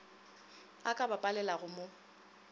a ka ba palelago mo